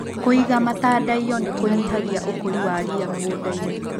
Kũiga matandaiyo nĩ kũnyihagia ũkũri wa ria mũgundainĩ.